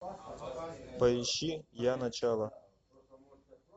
поищи я начало